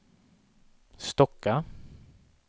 Stocka